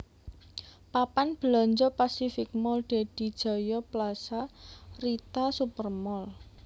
Papan belanja Pacific Mall Dedy Jaya Plaza Rita Super Mall